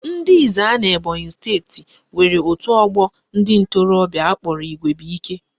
Ndị Ezza n'Ebonyi steeti nwere otu ọgbọ ndị ntorobịa akpọrọ Igwebuike